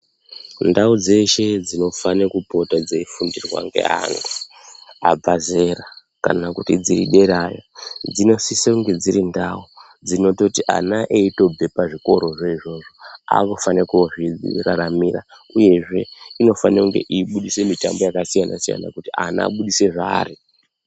Ndau dzeshe dzinofana kupota dzeifundwarwa ne anhu abva zera kanakuti dzederayo dzinosise kunge dzirindau dzekuroti aana achibve pazvikora zvo izvozvo avakufanirwa kunozvi raramira uyezve, inofanirwa kunge yeibudisa mitambo yakasiyana siyama kuti ana vabudise zvavari.